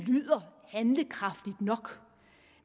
lyder handlekraftigt nok